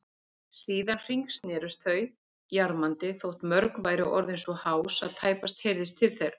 Síðan hringsnerust þau jarmandi, þótt mörg væru orðin svo hás að tæpast heyrðist til þeirra.